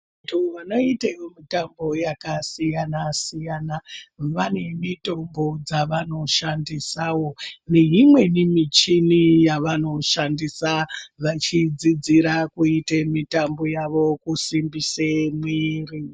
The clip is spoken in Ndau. Vantu vanoite mitambo yakasiyana-siyana vane mitombo dzavanoshandisawo neimweni michini yavanoshandisa vachidzidzira kuite mitambo yavo, kusimbise mwiri.